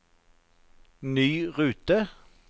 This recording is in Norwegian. ny rute